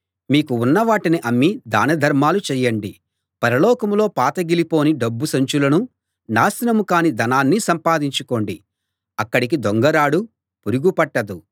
మీకు ఉన్నవాటిని అమ్మి దాన ధర్మాలు చేయండి పరలోకంలో పాతగిలిపోని డబ్బు సంచులనూ నాశనం కాని ధనాన్నీ సంపాదించుకోండి అక్కడికి దొంగ రాడు పురుగు పట్టదు